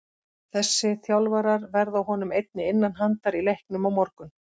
Þessi þjálfarar verða honum einnig innan handar í leiknum á morgun.